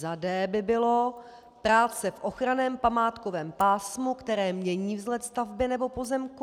Za d) by bylo: práce v ochranném památkovém pásmu, které mění vzhled stavby nebo pozemku;